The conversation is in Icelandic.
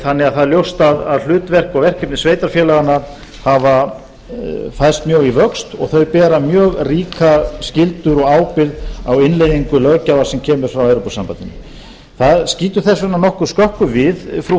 þannig að það er ljóst að hlutverk og verkefni sveitarfélaganna hafa færst mjög í vöxt og þau bera mjög ríka skyldu og ábyrgð á innleiðingu löggjafar sem kemur frá evrópusambandinu það skýtur þess vegna nokkuð skökku við frú